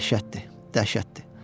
Dəhşətdir, dəhşətdir.